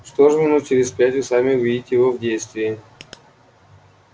что ж минут через пять вы сами увидите его в действии